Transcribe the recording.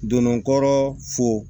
Donnun kɔrɔ fo